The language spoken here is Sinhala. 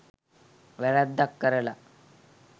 වැරැද්දක් කරලා